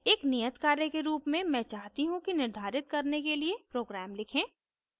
एक नियतकार्य के रूप में मैं चाहती हूँ कि निर्धारित करने के लिए program लिखें